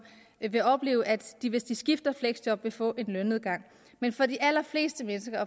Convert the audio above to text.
vil opleve at de hvis de skifter fleksjob vil få en lønnedgang men for de allerfleste mennesker